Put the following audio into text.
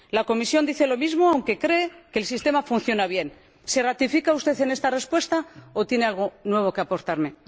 La Comisión dice lo mismo aunque cree que el sistema funciona bien. ¿Se ratifica usted en esta respuesta o tiene algo nuevo que aportarme?